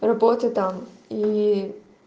работа там и